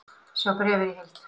Sjá bréfið í heild